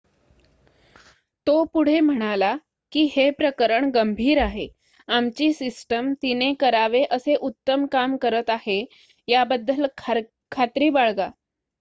"तो पुढे म्हणाला की "हे प्रकरण गंभीर आहे. आमची सिस्टम तिने करावे असे उत्तम काम करत आहे याबद्दल खात्री बाळगा.""